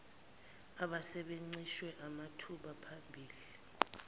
ababencishwe amathuba phambilini